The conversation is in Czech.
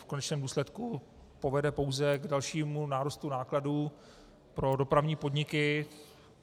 V konečném důsledku povede pouze k dalšímu nárůstu nákladů pro dopravní podniky.